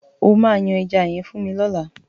O máa yan ẹja yẹn fún mi lọ́làá.